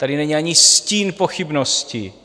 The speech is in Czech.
Tady není ani stín pochybností.